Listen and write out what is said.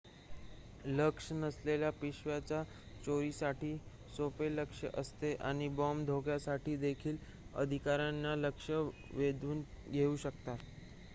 लक्ष नसलेल्या पिशव्या चोरीसाठी सोपे लक्ष्य असते आणि बॉम्ब धोक्यासाठी देखील अधिकाऱ्यांचे लक्ष वेधून घेऊ शकतात